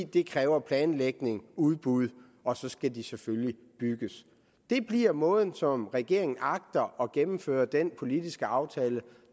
det kræver planlægning og udbud og så skal de selvfølgelig bygges det bliver måden som regeringen agter at gennemføre den politiske aftale